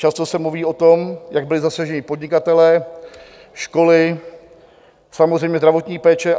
Často se mluví o tom, jak byli zasaženi podnikatelé, školy, samozřejmě zdravotní péče.